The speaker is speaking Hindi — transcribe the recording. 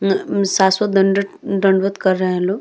उम्मा उम्म शाश्वत दंडत दंडवत कर रहे हैं लोग।